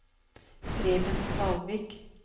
Preben Kvalvik